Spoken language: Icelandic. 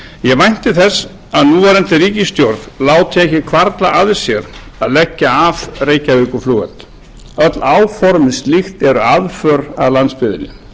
ég vænti þess að núverandi ríkisstjórn láti ekki hvarfla að sér að leggja af reykjavíkurflugvöll öll áform um slíkt er aðför að landsbyggðinni